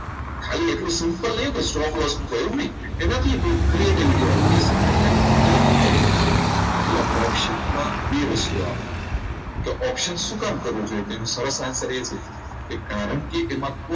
simple નહીં હો તો stock મુકવાની એવું નહીં એનાથી બહુ creative વાળુ છે તો પહેલા option બે વસ્તુ આવે તો option શું કામ કરવું જોઈએ તેનો સરસ answer એ છે કે કારણ કે એમાં